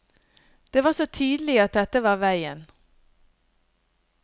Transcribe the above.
Det var så tydelig at dette var veien.